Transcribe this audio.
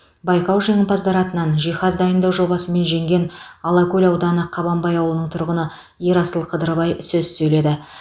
байқау жеңімпаздары атынан жиһаз дайындау жобасымен жеңген алакөл ауданы қабанбай ауылының тұрғыны ерасыл қыдырбай сөз сөйледі